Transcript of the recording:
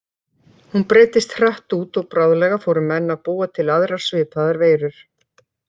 Hún breiddist hratt út og bráðlega fóru menn að búa til aðrar svipaðar veirur.